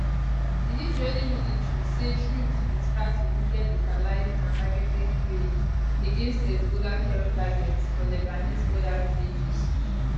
di israeli military say troops bin start limited localised and targeted raids against hezbollah terror targets for lebanese border villages